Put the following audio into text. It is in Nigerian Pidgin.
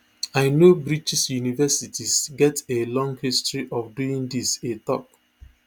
i know british universities get a long history of doing dis e tok